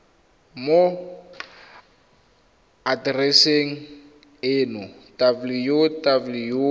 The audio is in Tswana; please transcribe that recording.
mo atereseng eno ya www